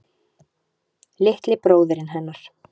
Litli bróðirinn hennar.